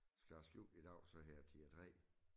Skal have skib i dag så hedder det tier 3